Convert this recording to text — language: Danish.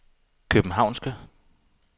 københavnske